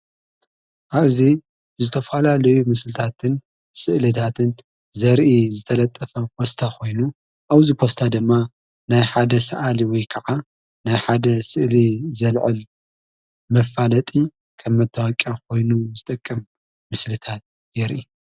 ኣብዙይ ዝተፈላለዩ ምሥልታትን ሥእሊታትን ዘርኢ ዝተለጠፈ ፖስታ ኾይኑ ኣወዚ ፖስታ ድማ ናይ ሓደ ሰኣሊ ወይ ከዓ ናይ ሓደ ሥእል ዘልዕል መፋለጢ ከም መታወቂያ ኾይኑ ዝጠቀም ምስልታት የርኢ።